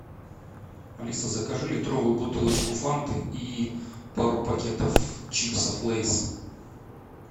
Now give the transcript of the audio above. алиса закажи литровую бутылочку фанты и пару пакетов чипсов лейс